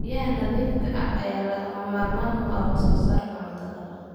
Biyaha nadiifka ah ayaa lagama maarmaan u ah wax soo saarka cuntada.